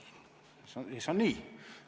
See on nii.